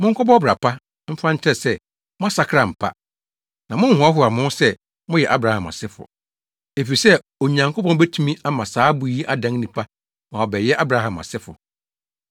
Monkɔbɔ ɔbra pa mfa nkyerɛ sɛ moasakra ampa. Na monnhoahoa mo ho sɛ moyɛ Abraham asefo, efisɛ Onyankopɔn betumi ama saa abo yi adan nnipa ma wɔabɛyɛ Abraham asefo.